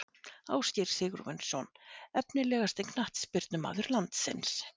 Ásgeir Sigurvinsson Efnilegasti knattspyrnumaður landsins?